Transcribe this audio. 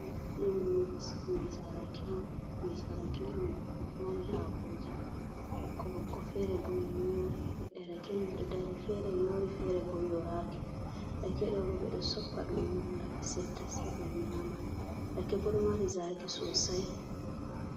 Ɗo'o ɗum ngesa rake on, ngesa rake ɗo mari haakooji ɓokko-ɓokko feere boo yoori, leɗɗe rake man ɗo dari feere yoori feere boo yooraaki, rake ɗo'o boo ɓe ɗo soppa ɗum wara ɓe setta sey ɓe nyaama. rake boo ɗo mari zaaqi soosai.